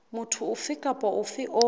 motho ofe kapa ofe o